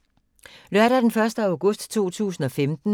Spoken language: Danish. Lørdag d. 1. august 2015